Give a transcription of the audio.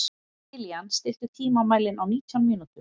Kilían, stilltu tímamælinn á nítján mínútur.